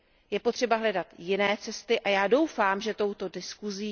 Je potřeba hledat jiné cesty, a já doufám, že touto diskuzí...